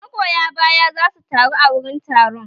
Magoya baya za su taru a wurin taron